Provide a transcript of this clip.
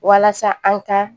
Walasa an ka